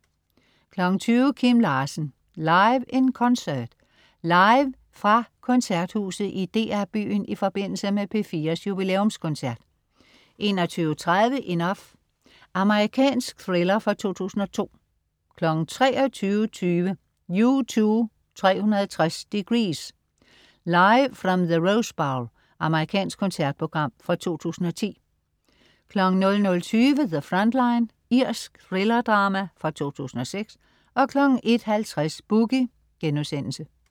20.00 Kim Larsen. Live in Concert. Live fra Koncerthuset i DR Byen i forbindelse med P4's jubilæumskoncert 21.30 Enough. Amerikansk thriller fra 2002 23.20 U2 360 degrees. Live From the Rose Bowl. Amerikansk koncertprogram fra 2010 00.20 The Front Line. Irsk thrillerdrama fra 2006 01.50 Boogie*